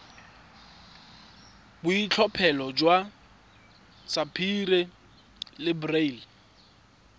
boitlhophelo jwa sapphire le beryl